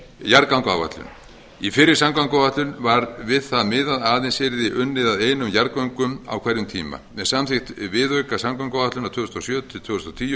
jarðgangaáætlun í fyrri samgönguáætlun var við það miðað að aðeins yrði unnið að einum jarðgöngum á hverjum tíma með samþykkt viðauka samgönguáætlunar tvö þúsund og sjö til tvö þúsund og tíu